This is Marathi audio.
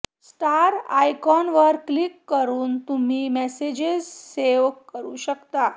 स्टार आयकॉनवर क्लिक करून तुम्ही मेसेजेस सेव्ह करु शकतात